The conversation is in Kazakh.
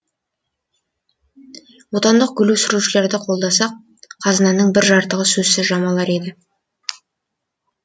отандық гүл өсірушілерді қолдасақ қазынаның бір жыртығы сөзсіз жамалар еді